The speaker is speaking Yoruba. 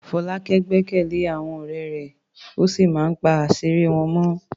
Folake gbẹ́kẹ̀lé àwọn ọ̀rẹ́ rẹ̀ ó sì máa ń pa àṣírí wọn mọ́.